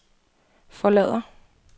forlader